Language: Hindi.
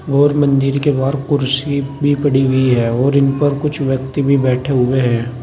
और मंदिर के बाहर कुर्सी भी पड़ी हुई है और इन पर कुछ व्यक्ति भी बैठे हुए हैं।